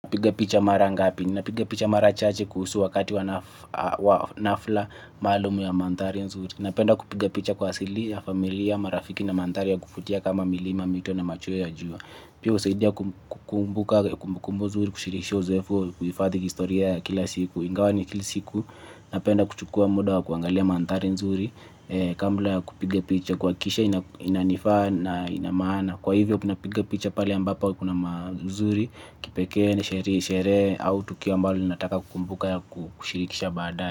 Piga picha mara ngapi, nina piga picha mara chache kuhusu wakati wanafla maalumu ya manthari nzuri. Napenda kupiga picha kwa asili ya familia, marafiki na mandhari ya kuvutia kama milima, mito na machweo ya jua. Pia husaidia kukumbuka, kumbukumbu nzuri, kushirisha uzoefu, kuhifadhi historia kila siku. Ingawa ni kila siku, napenda kuchukua muda wa kuangalia mandhari nzuri, kambla kupiga picha, kwa kisha inanifaa na inamana. Na kwa hivyo kuna piga picha pale ambapo kuna mazuri kipekee ni sherehe au tukio ambalo nataka kukumbuka kushirikisha baadae.